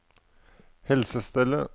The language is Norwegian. helsestellet